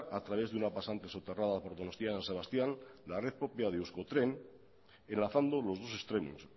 a través de una pasante soterrada por donostia san sebastián la red propia de euskotren enlazando los dos extremos